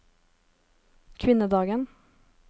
kvinnedagen